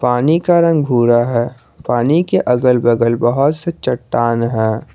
पानी का रंग भूरा है पानी के अगल बगल बहुत से चट्टान हैं।